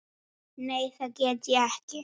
Nei, það get ég ekki.